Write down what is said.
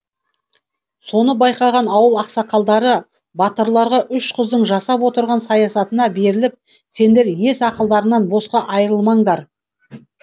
соны байқаған ауыл ақсақалдары батырларға үш қыздың жасап отырған саясатына беріліп сендер ес ақылдарыңнан босқа айырылмаңдар